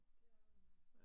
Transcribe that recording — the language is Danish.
Det er der nemlig